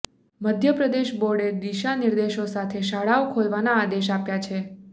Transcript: મધ્યપ્રદેશ બોર્ડે દિશા નિદેર્શો સાથે શાળાઓ ખોલવાના આદેશ આપ્યા છે